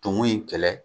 Tumu in kɛlɛ